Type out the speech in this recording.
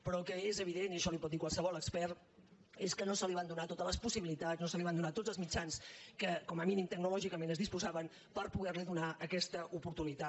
però el que és evident i això li ho pot dir qualse·vol expert és que no se li van donar totes les possibi·litats no se li van donar tots els mitjans de què com a mínim tecnològicament es disposava per poder·li do·nar aquesta oportunitat